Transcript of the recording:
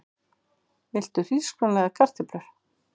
Viltu hrísgrjón eða kartöflur?